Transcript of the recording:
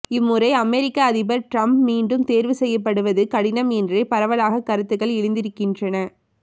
இம்முறை அமெரிக்க அதிபர் டிரம்ப் மீண்டும் தேர்வு செய்யப்படுவது கடினம் என்றே பரவலாக கருத்துகள் எழுந்திருக்கின்றன